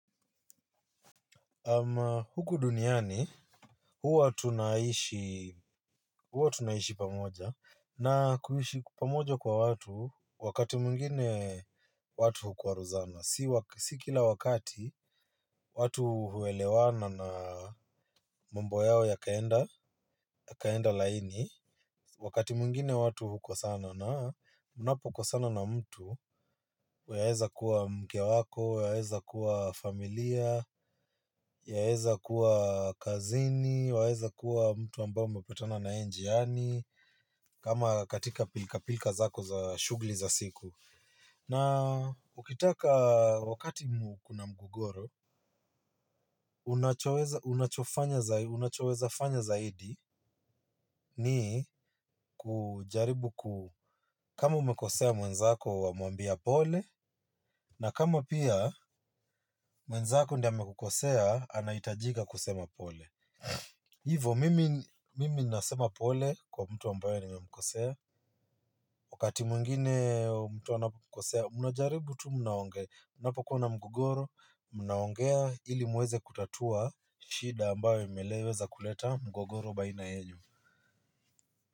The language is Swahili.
Huku duniani huwa tunaishi pamoja na kuishi pamoja kwa watu wakati mwingine watu hukwaruzana. Si kila wakati watu huelewana na mambo yao ya kaenda laini, wakati mwingine watu huko sana. Na mnapo kosana na mtu, waeza kuwa mke wako, waeza kuwa familia, yaeza kuwa kazini, waeza kuwa mtu ambao mmepatana na yeye njiani, kama katika pilka zako za shugli za siku. Na ukitaka wakati kuna mgogoro unachoweza fanya zaidi ni kujaribu kama umekosea mwenzako wamwambia pole, na kama pia mwenzako ndie amekukosea, anaitajika kusema pole. Hivo, mimi nasema pole kwa mtu ambayo nimemkosea. Wakati mwingine mtu anapo kosea, mnajaribu tu mnaongea napa kuwa na mgogoro, mnaongea ili muweze kutatua shida ambayo imeleweza kuleta mgogoro baina yenu.